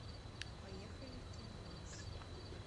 поехали киномакс